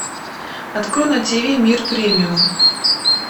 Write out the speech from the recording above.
открой на тв мир премиум